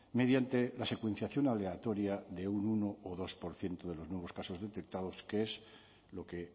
mediante la secuenciación aleatoria de un uno o dos por ciento de los nuevos casos detectados que es lo que